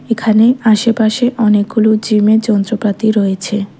এখানে আশেপাশে অনেকগুলো জিমের যন্ত্রপাতি রয়েছে।